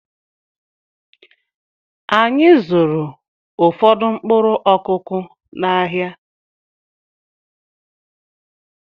Anyị zụụrụ ụfọdụ mkpụrụ Ọkụ́kụ́ n'ahia.